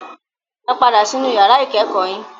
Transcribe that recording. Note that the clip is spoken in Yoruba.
Ẹ padà sí inú yàrá ìkẹ́kọ̀ọ́ yín.